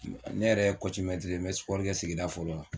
Ne yɛrɛ ye mɛtiri ye me kɛ sigida fɔlɔ la